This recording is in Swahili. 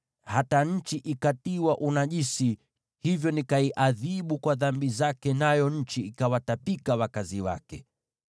Hata nchi ilitiwa unajisi, hivyo nikaiadhibu kwa dhambi zake, nayo nchi ikawatapika wakazi wake.